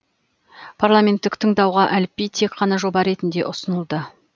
парламенттік тыңдауға әліпби тек қана жоба ретінде ұсынылды